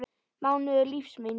mánuður lífs míns.